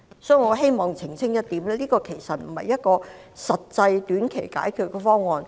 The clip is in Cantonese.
所以，我希望澄清這其實不是一個實際的短期解決方案。